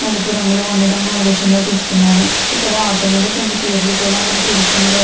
నలుపు రంగులో ఉండటం మనం ఈ దృశ్యంలో చూస్తున్నాము. ఇక్కడ ఆటో మీద కొన్ని పేర్లు కూడా మనకి ఈ దృశ్యంలో --